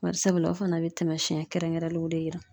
Bari sabula o fɛnɛ be taamasɛn kɛrɛnkɛrɛnlenw de yira